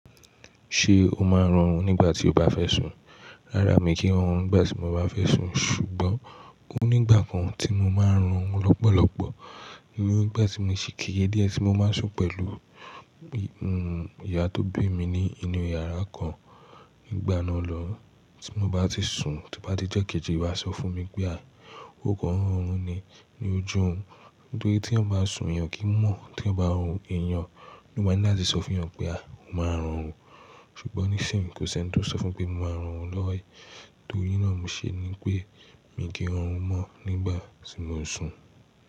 Ṣé o máa ń rọrùn nígbà tí o bá fẹ́ sùn? Rárá mi kì í rọrùn nígbà tí mo bá fẹ́ sùn ṣùgbọ́n o ní ìgbà kan tí mo máa ń rọrùn lọ́pọ̀lọ́pọ̀. Ni igbà tí mo ṣe kere díẹ̀ tí mo máa ń sùn pẹ̀lú, ìyá tó bí mi ní inú yàrá kan nígbà náà lọ̀un tí mo bá ti sùn, tí ó bá di ijo kejì, won a sọ fún mi pé "a, ó kọ́ n rọrùn ni ní ojú òrun." Torí tí eeyan bá sùn, èèyàn o kì í mọ̀ tí ẹeyan bá rorùn, èèyàn ló máa ni latí sọ fún ẹeyan pé "a, o máa rọrùn." Ṣùgbọ́n níṣìnyí kò sí ẹni tó sọ fún pé mo máa rọrùn lọ́wọ́, torína mo ṣe ni pé mi kì n rọrùn mọ́ nígbà tí mò ń sùn.